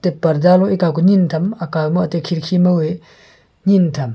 tep parda loi ekao keni tham akao ma tai kheriki ma tham.